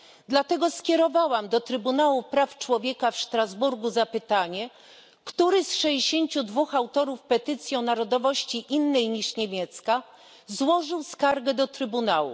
Z tego powodu skierowałam do Trybunału Praw Człowieka w Strasburgu zapytanie, który z 62 autorów petycji o narodowości innej niż niemiecka złożył skargę do Trybunału.